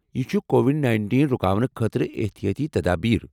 یِم چھِ Covid nineteen رُکاونہٕ خٲطرٕ احتِیٲطی تدابیر